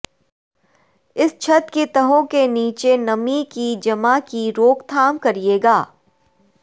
اس چھت کی تہوں کے نیچے نمی کی جمع کی روک تھام کرے گا